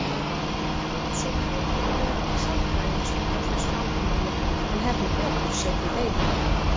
Eitt sinn leitaði ég til sálfræðings út af þessu vandamáli, en hefði betur setið heima.